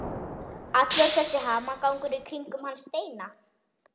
Allur þessi hamagangur í kringum hann Steina!